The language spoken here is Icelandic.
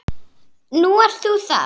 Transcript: Nú ert þú þar.